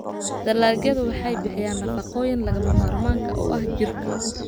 Dalagyadu waxay bixiyaan nafaqooyinka lagama maarmaanka u ah jirka.